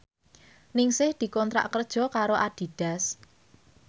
Ningsih dikontrak kerja karo Adidas